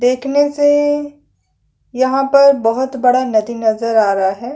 देखने से यहाँ पर बहुत बड़ा नदी नज़र आ रहा है।